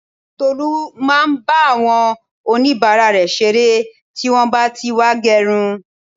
Tolu máa ń bá àwọn onibara rẹ ṣeré tí wọn bá tí wá gerun